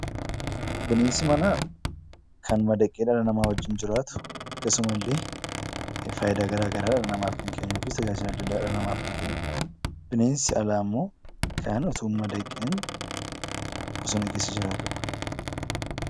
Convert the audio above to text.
Bineensi manaa kan madaqee nama wajjin jiraatu akkasuma illee faayidaa gara garaa dhala namaaf kan kennu yookiin tajaajila adda addaa dhala namaaf kan kennudha. Bineensi alaa immoo kan otoo hin madaqiin bosona keessa jiraatudha.